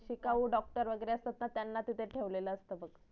शिकाऊ doctor वगरेअसतात ना त्यांना तिथ ठेवलेल असत बग